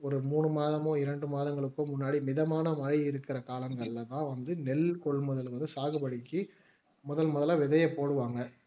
ஒரு மூணு மாதமோ இரண்டு மாதங்களுக்கோ முன்னாடி மிதமான மழை இருக்கிற காலங்கல்ல தான் வந்து நெல் கொள்முதல்கள சாகுபடிக்கு முதல் முதலா விதையை போடுவாங்க